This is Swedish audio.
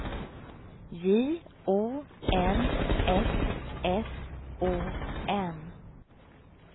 J O N S S O N